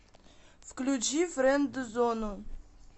включи френдзону